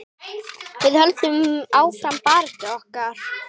Við höldum áfram baráttu okkar.